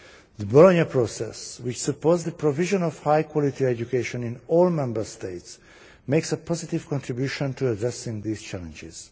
The Bologna Process, which supports the provision of high quality education in all Member States, makes a positive contribution to addressing these challenges.